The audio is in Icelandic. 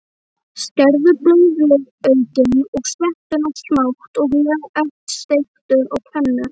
Skerðu blaðlaukinn og sveppina smátt og léttsteiktu á pönnu.